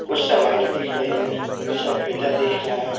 उस सामाने दिख रही हैं सफेदा दिख रहा है।